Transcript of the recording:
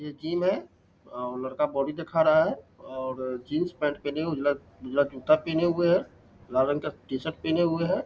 ये जिम है औ लड़का बॉडी दिखा रहा है और जीन्स पैंट पहने हुए है उजला-उजला जूता पहने हुए है लाल रंग का टी-शर्ट पहने हुए है --